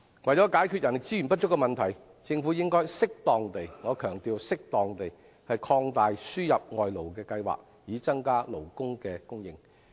為解決人力資源不足的問題，政府應適當地——我強調是適當地——擴大輸入外勞的計劃，以增加勞工的供應。